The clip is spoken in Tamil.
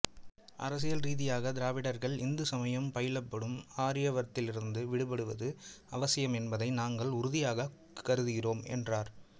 அரசியல் ரீதியாக திராவிடர்கள் இந்து சமயம் பயிலப்படும் ஆரியவர்த்ததிலிருந்து விடுபடுவது அவசியம் என்பதை நாங்கள் உறுதியாகக் கருதுகிறோம் என்றார்